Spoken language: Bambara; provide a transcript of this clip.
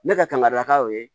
Ne ka kangaridaw ye